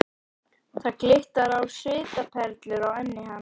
Það glittir á svitaperlur á enni hans.